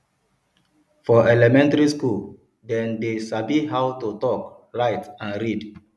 for elementary school dem de sabi how to talk write and read